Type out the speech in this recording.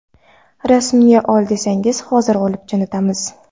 Rasmga ol desangiz, hozir olib jo‘natamiz.